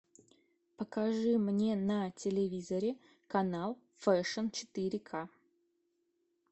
покажи мне на телевизоре канал фэшн четыре ка